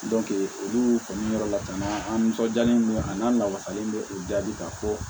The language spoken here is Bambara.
olu kɔni yɔrɔ lakana an nisɔndiyalen bɛ a n'an lawasalen bɛ o jaabi ka fɔ